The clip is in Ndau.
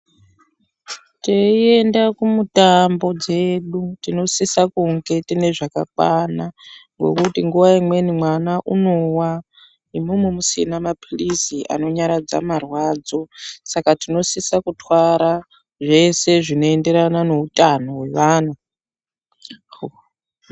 Teienda kumitambo dzedu tinosisa kunge tiine zvakakwana nekuti nguva imweni mwana unowa imimi musina mapirizi anonyaradza marwadzo saka tinosisa kutwara zveshe zvinoenderano neutano hwevanhu .